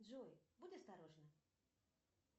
джой будь осторожна